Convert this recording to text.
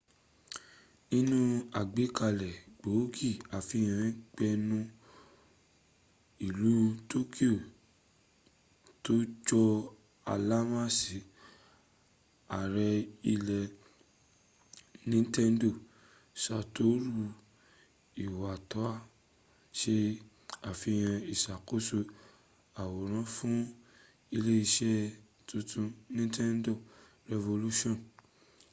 nínú àgbékalẹ̀ gbòógì àfihàn géèmù ilẹ̀ tokyo tọjọ́ àlàmísì ààrẹ ilẹ̀ nintendo satoru iwata se àfihàn ìsàkóso àwòrán fún iléẹṣẹ́ tuntun nintendo revolution